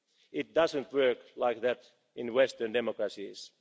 courts. It doesn't work like that in Western